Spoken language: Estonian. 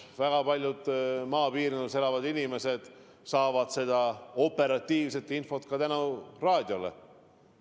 Väga paljud maapiirkondades elavad inimesed saavad seda operatiivset infot ka tänu raadiole.